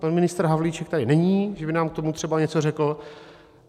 Pan ministr Havlíček tady není, že by nám k tomu třeba něco řekl.